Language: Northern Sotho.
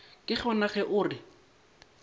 ke gona ge o re